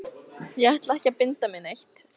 Ég ætla ekki að binda mig neitt.